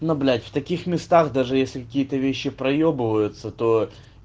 но блять в таких местах даже если какие-то вещи проебываются то